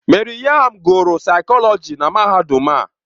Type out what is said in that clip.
Maryam gụrụ saịkọlọji na mahadum a.